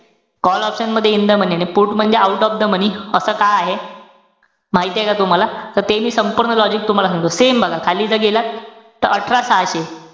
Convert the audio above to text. Call option मध्ये in the money ए. आणि put म्हणजे out of the money असं का आहे? माहितेय का तुम्हाला? त ते मी संपूर्ण logic तुम्हाला सांगतो. Same बघा, खाली इथं गेलात त अठरा सहाशे,